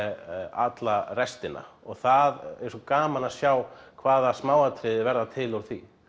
alla restina og það er svo gaman að sjá hvaða smáatriði verða til úr því